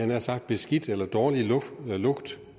nær sagt beskidt eller dårlig